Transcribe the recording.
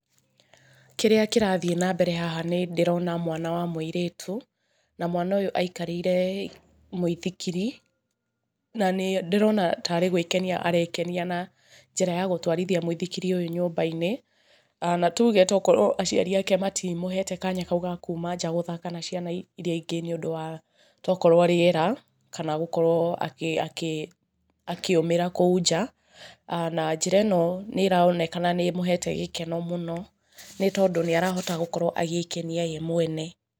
Kĩrĩa kĩrathiĩ na mbere haha nĩ ndĩrona mwana wa mũirĩtu, na mwana ũyũ aikarĩire mũithikiri, na nĩ ndĩrona taarĩ gũĩkenia arekenia na njĩra ya gũtwarithia muithikiri ũyũ nyũmba-inĩ, na tuge tokorwo aciari ake matimũhete kanya kau ga kuuma nja gũthaka na ciana iria ingĩ nĩ ũndũ wa tokorwo rĩera, kana gũkorwo akĩũmĩra kũu nja, na njĩra nĩ ĩronekana nĩ ĩmũhete gĩkeno mũno nĩ tondũ nĩ arahota gũkorwo agĩĩkenia ye mwene.